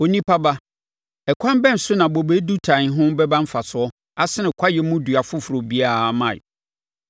“Onipa ba, ɛkwan bɛn so na bobe dutan ho bɛba mfasoɔ asene kwaeɛ mu dua foforɔ biara mman?